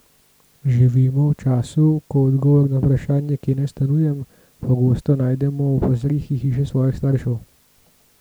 Živimo v času, ko odgovor na vprašanje, kje naj stanujem, pogosto najdemo v podstrehi hiše svojih staršev.